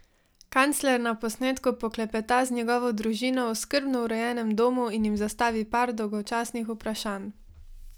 Kancler na posnetku poklepeta z njegovo družino v skrbno urejenem domu in jim zastavi par dolgočasnih vprašanj.